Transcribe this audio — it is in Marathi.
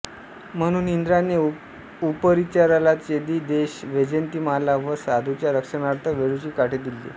म्हणून इंद्राने उपरिचराला चेदी देश वैजयंतीमाला व साधूंच्या रक्षाणार्थ वेळूची काठी दिली